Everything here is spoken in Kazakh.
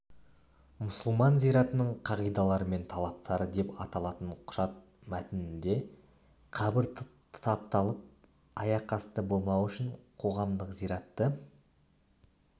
мұсылман зиратының қағидалары мен талаптары деп аталатын құжат мәтінінде қабір тапталып аяқасты болмауы үшін қоғамдық зиратты